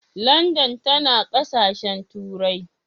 Landan tana ƙasashen turai.